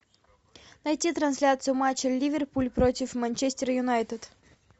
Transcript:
найти трансляцию матча ливерпуль против манчестер юнайтед